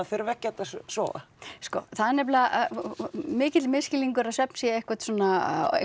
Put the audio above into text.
þurfi ekkert að sofa sko það er nefnilega mikill misskilningur að svefn sé einhver svona